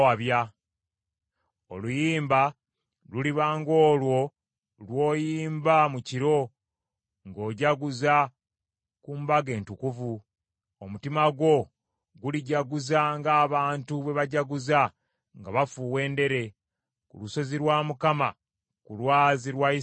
Oluyimba luliba ng’olwo lwoyimba mu kiro ng’ojaguza ku mbaga entukuvu; omutima gwo gulijaguza ng’abantu bwe bajaguza nga bafuuwa endere ku lusozi lwa Mukama , ku lwazi lwa Isirayiri.